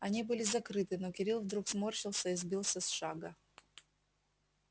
они были закрыты но кирилл вдруг сморщился и сбился с шага